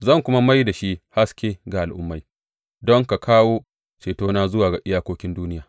Zan kuma mai da kai haske ga Al’ummai, don ka kawo cetona zuwa iyakokin duniya.